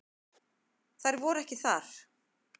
Þær voru ekki þar.